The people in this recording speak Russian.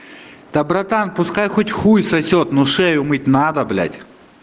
да братан пускай хоть хуй сосёт но шею мыть надо блять